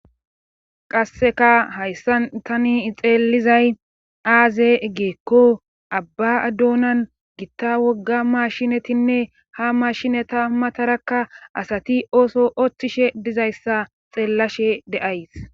Qasseka hayssan tani xeelizay aaze egeekko abba adduonan gitta wogga mashinetinne hamashineta matarakka asati ooso othtishe dizayssa xeellashe de'ays.